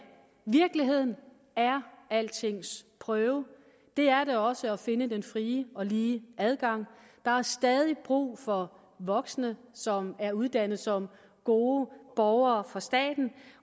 virkeligheden er altings prøve det er det også at finde den frie og lige adgang der er stadig brug for voksne som er uddannet som gode borgere for staten